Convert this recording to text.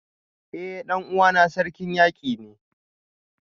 Eh dan uwana Sarkin Yaki ne